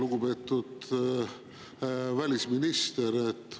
Lugupeetud välisminister!